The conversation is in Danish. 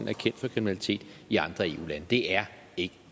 er kendt for kriminalitet i andre eu lande det er ikke